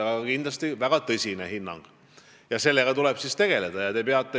Kindlasti on see ka väga tõsine hinnang ja sellega tuleb siis tegeleda.